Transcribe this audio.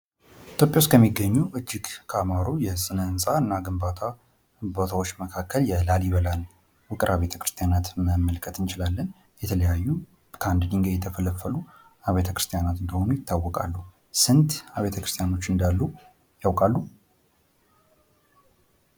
ኢትዮጵያ ውስጥ ከሚገኙ እጅግ ካማሩ የስነህንጻ እና ግንባታ ቦታዎች መካከል የላሊበላን ውቅር አብያተ ክርስቲያናትን መመልከት እንችላለን። የተለያዩ ከአንድ ድንጋይ የተፈለፈሉ አብያተ ክርስቲያናት እንደሆኑ ይታወቃሉ ። ስንት አብያተ ክርስትያኖች እንዳሉ ያውቃሉ ?